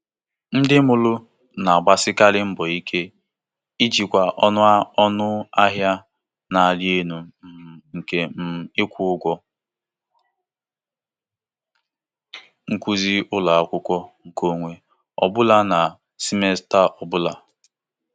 Ụgwọ akwụkwọ nkeonwe n'abawanye ụba emeela ka ọtụtụ ndị nne na nna chọọ nhọrọ enyemaka ego.